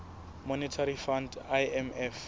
monetary fund imf